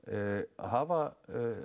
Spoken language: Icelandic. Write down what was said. hafa